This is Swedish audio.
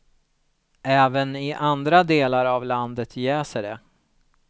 Även i andra delar av landet jäser det.